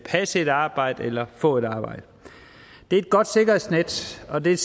passe et arbejde eller få et arbejde det er et godt sikkerhedsnet og det er